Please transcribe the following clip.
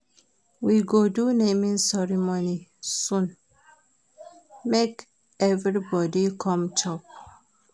We go do naming ceremony soon, make everybodi come chop.